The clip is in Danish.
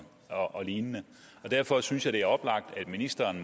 og lignende derfor synes jeg det er oplagt at ministeren